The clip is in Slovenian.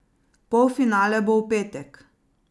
Polfinale bo v petek.